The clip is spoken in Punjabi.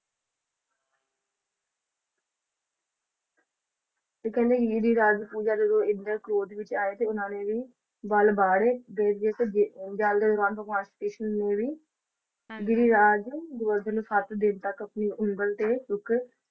ਤੇ ਕਹਿੰਦੇ ਗਿਰੀਰਾਜ ਪੂਜਾ ਜਦੋਂ ਇੰਦਰ ਕ੍ਰੋਧ ਵਿੱਚ ਆਏ ਸੀ ਉਹਨਾਂ ਨੇ ਵੀ ਵੱਲ ਬਾਹ ਰਹੇ ਸੀ ਕ੍ਰਿਸ਼ਨ ਨੂੰ ਵੀ ਗਿਰੀਰਾਜ ਗੋਵਰਧਨ ਨੂੰ ਸੱਤ ਦਿਨ ਤੱਕ ਆਪਣੀ ਉਂਗਲ ਤੇ ਚੁੱਕ,